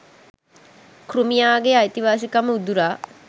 කෘමියාගේ අයිතිවාසිකම උදුරා